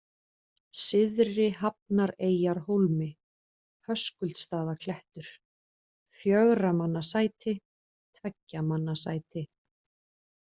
Syðri-Hafnareyjarhólmi, Höskuldsstaðaklettur, Fjögurramannasæti, Tveggjamannasæti